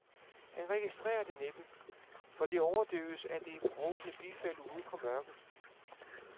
Han registrerer det næppe, for det overdøves af det brovtende bifald ude fra mørket.